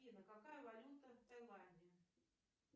афина какая валюта в тайланде